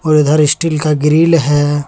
और इधर स्टील का ग्रिल है।